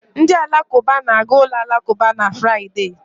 Ndị Alakụba na-aga ụlọ alakụba na Fraịde.